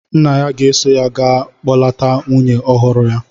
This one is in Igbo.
Nna ya ga-eso ya ga kpọlata nwunye ọhụrụ ya.